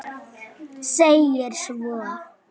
segir svo